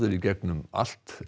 í gegnum allt